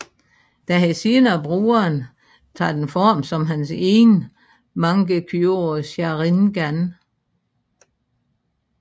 Da han senere bruger den tager den form som hans egen Mangekyo Sharingan